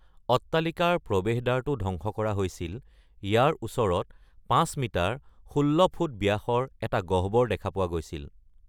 অট্টালিকাৰ প্ৰৱেশদ্বাৰটো ধ্বংস কৰা হৈছিল; ইয়াৰ ওচৰত পাঁচ মিটাৰ (১৬ ফুট) ব্যাসৰ এটা গহ্বৰ দেখা পোৱা গৈছিল।